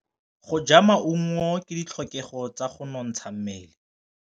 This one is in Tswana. Go ja maungo ke ditlhokegô tsa go nontsha mmele.